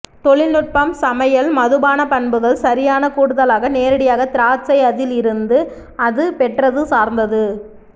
தொழில்நுட்பம் சமையல் மதுபான பண்புகள் சரியான கூடுதலாக நேரடியாக திராட்சை அதில் இருந்து அது பெற்றது சார்ந்தது